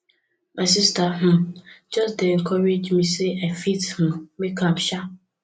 my sista um just dey encourage me sey i fit um make am um